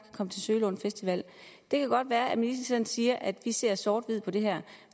komme til sølundfestivalen det kan godt være at ministeren siger at vi ser sort hvidt på det her